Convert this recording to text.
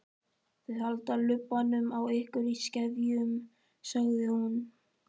Þau halda lubbanum á ykkur í skefjum, sagði hún.